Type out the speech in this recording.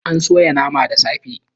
An soya naman da safe